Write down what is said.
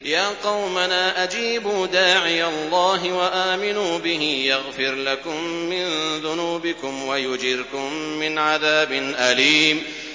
يَا قَوْمَنَا أَجِيبُوا دَاعِيَ اللَّهِ وَآمِنُوا بِهِ يَغْفِرْ لَكُم مِّن ذُنُوبِكُمْ وَيُجِرْكُم مِّنْ عَذَابٍ أَلِيمٍ